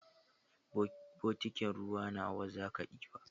Botikin ruwa nawa zaka ɗiba?